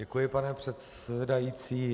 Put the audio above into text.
Děkuji, pane předsedající.